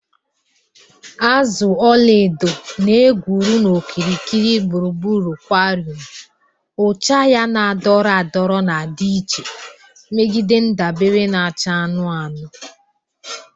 Azụ ọla edo na-egwuru n'okirikiri gburugburu aquarium, ụcha ya na-adọrọ adọrọ na-adị iche megide ndabere na-acha anụnụ anụnụ